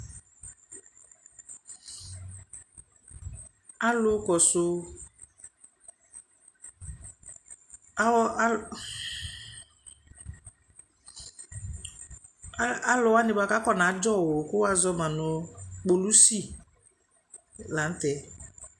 Alʋ kɔsʋ aw a alʋ wanɩ bʋa kʋ akɔnadzɔ wʋ kʋ wʋazɔ ma nʋ kpolusi la nʋ tɛ